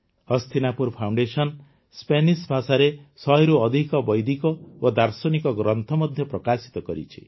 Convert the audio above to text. Hastinapur foundation Spanish ଭାଷାରେ ୧୦୦ରୁ ଅଧିକ ବୈଦିକ ଓ ଦାର୍ଶନିକ ଗ୍ରନ୍ଥ ମଧ୍ୟ ପ୍ରକାଶିତ କରିଛି